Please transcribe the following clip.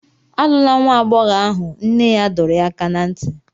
Alụla nwa agbọghọ ahụ, nne ya dọrọ ya aka ná ntị.